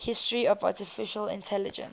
history of artificial intelligence